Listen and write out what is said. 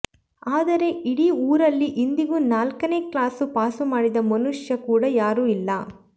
ಆದರೆ ಇಡೀ ಊರಲ್ಲಿ ಇಂದಿಗೂ ನಾಲ್ಕನೇ ಕ್ಲಾಸು ಪಾಸುಮಾಡಿದ ಮನುಷ್ಯ ಕೂಡಾ ಯಾರೂ ಇಲ್ಲ